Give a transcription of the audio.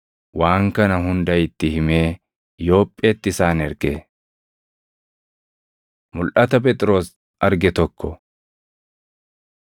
waan kana hunda itti himee Yoopheetti isaan erge. Mulʼata Phexros Arge Tokko 10:9‑32 kwi – Hoj 11:5‑14